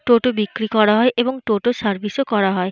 টোটো বিক্রি করা হয় এবং টোটো র সার্ভিস -ও করা হয়।